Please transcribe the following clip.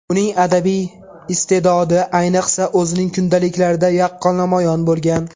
Uning adabiy iste’dodi, ayniqsa, o‘zining kundaliklarida yaqqol namoyon bo‘lgan.